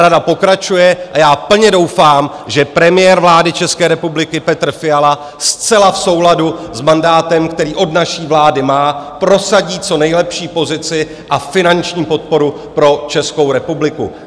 Rada pokračuje a já plně doufám, že premiér vlády České republiky Petr Fiala zcela v souladu s mandátem, který od naší vlády má, prosadí co nejlepší pozici a finanční podporu pro Českou republiku.